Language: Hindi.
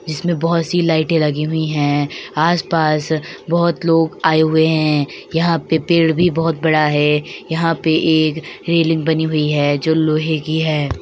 इसमें बहुत सी लाइटें लगी हुई हैं आस - पास बहुत लोग आए हुए हैं यहाँ पे पेड़ भी बहुत बड़ा है यहाँ पे एक रेलिंग बनी हुई है जो लोहे की है।